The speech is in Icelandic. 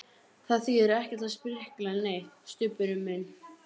Það þýðir ekkert að sprikla neitt, Stubbur minn.